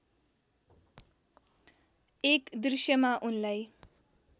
एक दृश्यमा उनलाई